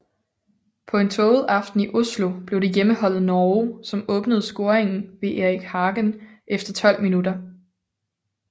På en tåget aften i Oslo blev det hjemmeholdet Norge som åbnede scoringen ved Erik Hagen efter 12 minutter